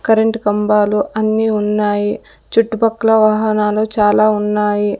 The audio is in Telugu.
కరెంట్ కంబాలు అన్ని ఉన్నాయి చుట్టుపక్కల వాహనాలు చాలా ఉన్నాయి.